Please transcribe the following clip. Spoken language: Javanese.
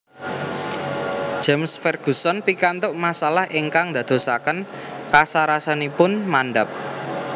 James Ferguson pikantuk masalah ingkang ndadosaken kasarasanipun mandhap